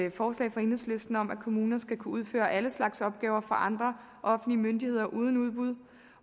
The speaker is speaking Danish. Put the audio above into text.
et forslag fra enhedslisten om at kommuner skal kunne udføre alle slags opgaver for andre offentlige myndigheder uden udbud